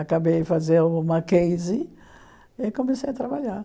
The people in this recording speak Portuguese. Acabei fazer uma case e comecei a trabalhar.